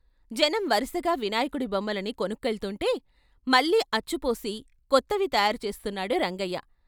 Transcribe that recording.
జనం వరుసగా వినాయకుడి బొమ్మలని కొనుక్కెళుతుంటే మళ్ళీ అచ్చుపోసి కొత్తవి తయారు చేస్తున్నాడు రంగయ్య.